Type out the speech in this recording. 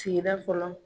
Sigida fɔlɔ